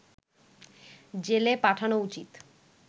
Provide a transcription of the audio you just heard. জেলে পাঠানো উচিৎ